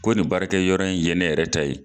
Ko nin baarakɛ yɔrɔ in ye ne yɛrɛ ta ye.